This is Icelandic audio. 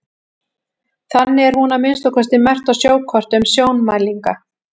þannig er hún að minnsta kosti merkt á sjókortum sjómælinga